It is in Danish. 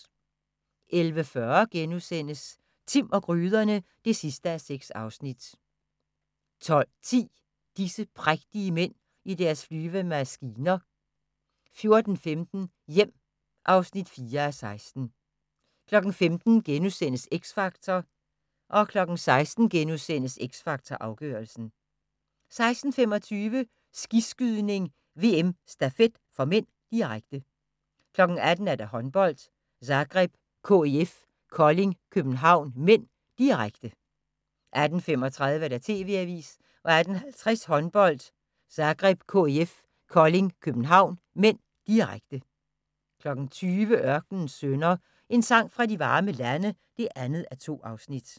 11:40: Timm og gryderne (6:6)* 12:10: Disse prægtige mænd i deres flyvende maskiner 14:15: Hjem (4:16) 15:00: X Factor * 16:00: X Factor Afgørelsen * 16:25: Skiskydning: VM - Stafet (m), direkte 18:00: Håndbold: Zagreb-KIF Kolding København (m), direkte 18:35: TV-avisen 18:50: Håndbold: Zagreb-KIF Kolding København (m), direkte 20:00: Ørkenens Sønner – En sang fra de varme lande (2:2)